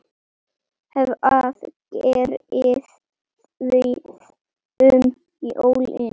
Hvað gerið þið um jólin?